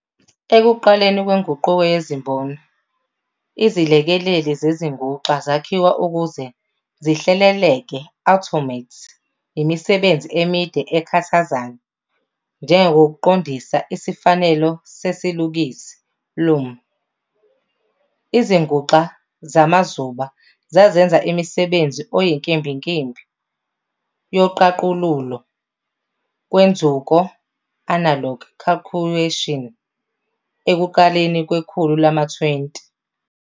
Ekuqaleni kwenguquko yezimboni, izilekeleli zezinguxa zakhiwa ukuze zihleleleke "automate" imisebenzi emide ekhathazayo, njengokuqondisa isifanelo sesilukisi "loom". Izinguxa zamazuba zazenza imisebenzi eyinkimbinkimbi yoqaqululo lwenzuko "analog calcuations" ekuqaleni kwekhulu lama-20.